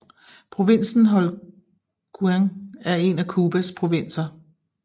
Provinsen Holguín er en af Cubas provinser